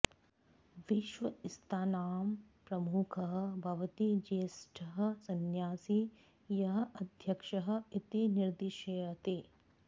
विश्वस्तानां प्रमुखः भवति ज्येष्ठः संन्यासी यः अध्यक्षः इति निर्दिश्यते